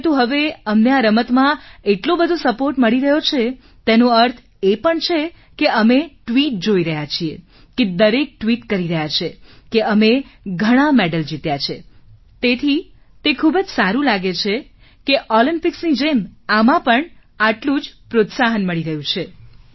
પરંતુ હવે અમને આ રમતમાં એટલો બધો સપોર્ટ મળી રહ્યો છે તેનો અર્થ એ પણ છે કે અમે ટ્વીટ જોઈ રહ્યા છીએ કે દરેક ટ્વીટ કરી રહ્યા છે કે અમે ઘણા મેડલ જીત્યા છે તેથી તે ખૂબ જ સારું લાગે છે કે Olympicsની જેમ આને પણ આટલું પ્રોત્સાહન મળી રહ્યું છે